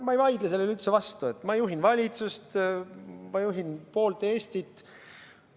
Ma ei vaidle sellele üldse vastu, et ma juhin valitsust, ma juhin poolt Eestit.